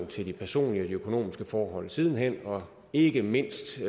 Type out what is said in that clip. til de personlige og økonomiske forhold siden hen og ikke mindst